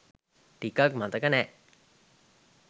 ටිකක් මතක නෑ